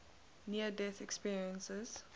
near death experiences